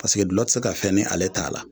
Paseke gulɔ te se ka fɛn n'ale t'a la